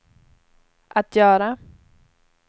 att göra